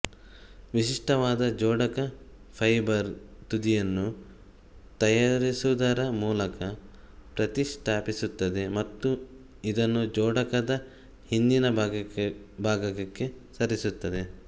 ವಿಶಿಷ್ಟವಾದ ಜೋಡಕ ಫೈಬರ್ ತುದಿಯನ್ನು ತಯಾರಿಸುವುದರ ಮೂಲಕ ಪ್ರತಿಷ್ಠಾಪಿಸುತ್ತದೆ ಮತ್ತು ಇದನ್ನು ಜೋಡಕದ ಹಿಂದಿನ ಭಾಗಕ್ಕೆ ಸೇರಿಸುತ್ತದೆ